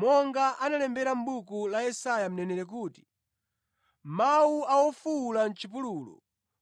Monga analembera mʼbuku la Yesaya mneneri kuti: “Mawu a wofuwula mʼchipululu,